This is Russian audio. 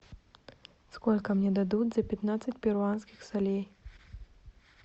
сколько мне дадут за пятнадцать перуанских солей